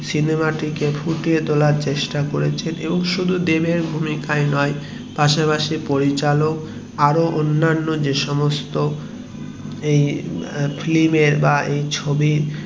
সিনেমাটিকে ফুটিয়ে তোলার চেষ্টা করেছেন এবং শুধু দেব এর ভূমিকায় নয় পাশাপাশি পরিচালক আরো অন্যান্য যে সমস্ত ফিল্ম এর মানুষ